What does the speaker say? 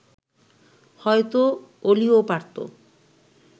হয়তো অলিও পারত